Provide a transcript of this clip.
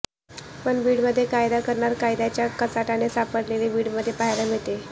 पण बीडमध्ये कायदा करणारच कायद्याच्या कचाट्यात सापडेले बीडमध्ये पाहायला मिळाला